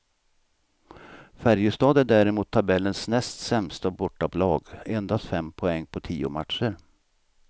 Färjestad är däremot tabellens näst sämsta bortalag, endast fem poäng på tio matcher.